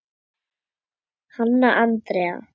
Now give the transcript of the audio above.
Hanna Andrea.